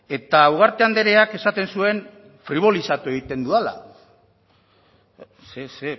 eta ugarte andreak esaten zuen fribolizatu egiten dudala ze